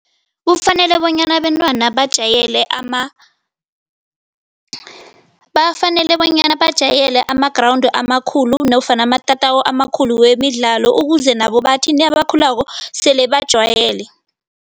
Kufanele bonyana abentwana bajayele bafanele bonyana bajayele ama-ground amakhulu nofana amatatawu amakhulu wemidlalo ukuze nabo bathi nabakhulako sele bajwayele.